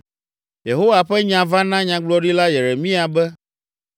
Yehowa ƒe nya va na Nyagblɔɖila Yeremia be,